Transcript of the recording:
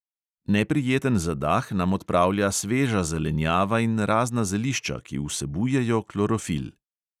Neprijeten zadah nam odpravlja sveža zelenjava in razna zelišča, ki vsebujejo klorofil.